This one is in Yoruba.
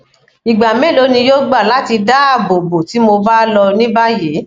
igba melo ni yoo gba lati daabobo ti mo ba lo ni bayi